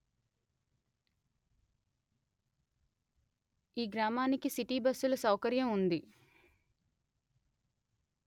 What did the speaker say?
ఈ గ్రామానికి సిటి బస్సుల సౌకర్యం ఉంది